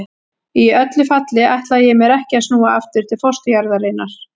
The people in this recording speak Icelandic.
Í öllu falli ætlaði ég mér ekki að snúa aftur til fósturjarðarinnar.